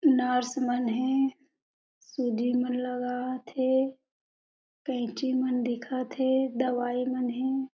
Nurse मन हे सूजी मन लगावत हे कैंची मन दिखत हे दवाई मन हे।